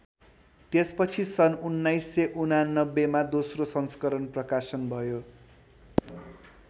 त्यसपछि सन् १९८९ मा दोस्रो संस्करण प्रकाशन भयो।